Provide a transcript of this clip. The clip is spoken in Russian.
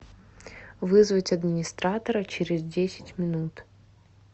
вызвать администратора через десять минут